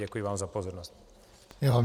Děkuji vám za pozornost.